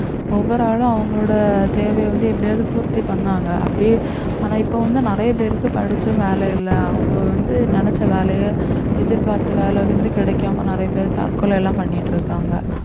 ஒவ்வொரு ஆளும் அவங்களோட தேவையை வந்து எப்படியாவது பூர்த்தி பண்ணாங்க அப்படியே ஆனா இப்ப வந்து நிறைய பேருக்கு படிச்சும் வேலை இல்லை அவங்க வந்து நினைச்ச வேலையை எதிர்பார்த்த வேலை வந்து கிடைக்காம நிறைய பேர் தற்கொலை எல்லாம் பண்ணிட்டு இருக்காங்க